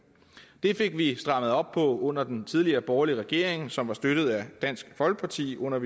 det fik vi strammet op på under den tidligere borgerlige regering som var støttet af dansk folkeparti under